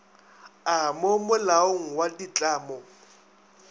a mo molaong wa ditlamo